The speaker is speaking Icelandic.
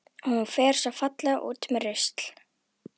Og hún fer svo fallega út með rusl.